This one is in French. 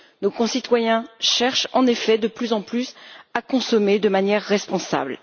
Nos concitoyens cherchent en effet, de plus en plus, à consommer de manière responsable.